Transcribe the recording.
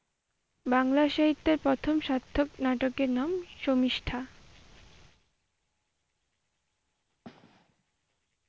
বাংলা সাহিত্যের প্রথম সার্থক নাটকের নাম শর্মিষ্ঠা।